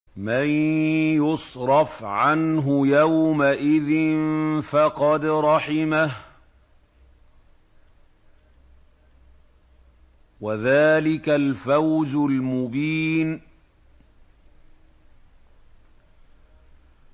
مَّن يُصْرَفْ عَنْهُ يَوْمَئِذٍ فَقَدْ رَحِمَهُ ۚ وَذَٰلِكَ الْفَوْزُ الْمُبِينُ